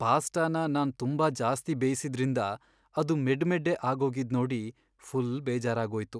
ಪಾಸ್ಟಾನ ನಾನ್ ತುಂಬಾ ಜಾಸ್ತಿ ಬೇಯ್ಸಿದ್ರಿಂದ ಅದು ಮೆಡ್ಮೆಡ್ಡೆ ಆಗೋಗಿದ್ ನೋಡಿ ಫುಲ್ ಬೇಜಾರಾಗೋಯ್ತು.